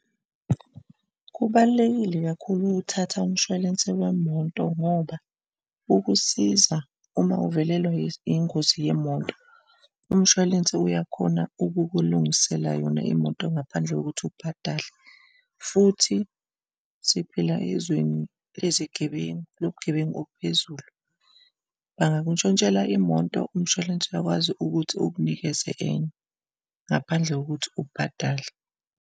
Kubalulekile kakhulu ukuthatha umshwalense wemoto ngoba ukusiza uma uvelelwa ingozi yemoto. Umshwalense uyakhona ukukulungisela yona imoto ngaphandle kokuthi ubhadale, futhi siphila ezweni lezigebengu lobugebengu ophezulu. Bangakuntshontshela imoto, umshwalense uyakwazi ukuthi ukunikeze enye, ngaphandle kokuthi ubhadale.